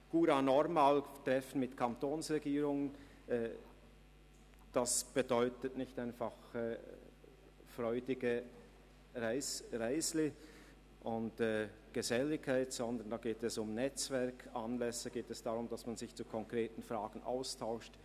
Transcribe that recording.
«Courant normal» wie die Treffen mit den Kantonsregierungen bedeutet nicht einfach freudige Reisen und Geselligkeit, sondern es geht um Netzwerkanlässe und darum, dass man sich zu konkreten Fragen austauscht.